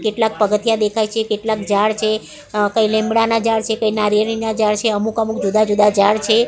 કેટલાક પગથીયા દેખાય છે કેટલાક ઝાડ છે અ કઇ લીમડાના ઝાડ છે કઇ નારિયેળીના ઝાડ છે અમુક અમુક જુદા જુદા ઝાડ છે.